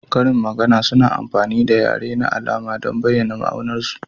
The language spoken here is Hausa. Karin magana suna amfani da yare na alama don bayyana ma'anarsu.